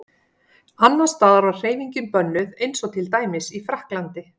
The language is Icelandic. Annars staðar var hreyfingin bönnuð eins og til dæmis í Frakklandi.